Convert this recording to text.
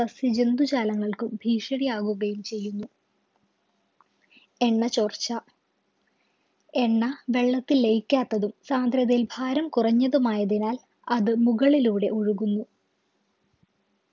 സസ്യ ജന്തുജാലങ്ങൾക്കും ഭീഷണിയാവുകയും ചെയ്യുന്നു എണ്ണ ചോർച്ച എണ്ണ വെള്ളത്തിൽ ലയിക്കാത്തതും സാന്ദ്രതയിൽ ഭാരം കുറഞ്ഞതും ആയതിനാൽ അത് മുകളിലൂടെ ഒഴുകുന്നു